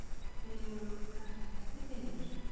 Dregur úr krafti fellibyljar